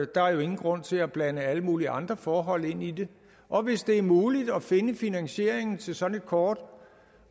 der er jo ingen grund til at blande alle mulige andre forhold ind i det og hvis det er muligt at finde finansieringen til sådan et kort